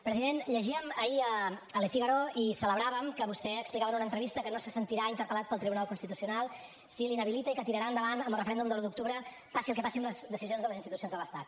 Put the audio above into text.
president llegíem ahir a le figaro i ho celebràvem que vostè explicava en una entrevista que no se sentirà interpel·lat pel tribunal constitucional si l’inhabilita i que tirarà endavant amb el referèndum de l’un d’octubre passi el que passi amb les decisions de les institucions de l’estat